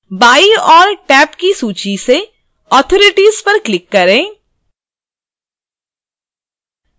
बाईं ओर टैब की सूची से authorities पर click करें